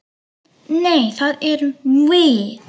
Nei, það erum við.